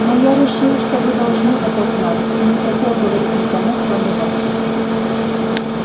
но я решил что вы должны это знать и не хотел говорить никому кроме вас